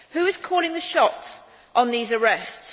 Who is calling the shots on these arrests?